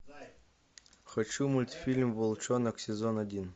хочу мультфильм волчонок сезон один